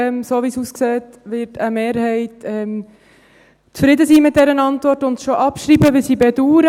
So, wie es aussieht, wird eine Mehrheit zufrieden sein mit dieser Antwort und schon abschreiben, was ich bedaure.